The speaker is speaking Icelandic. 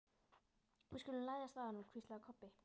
Við skulum læðast að honum, hvíslaði Kobbi.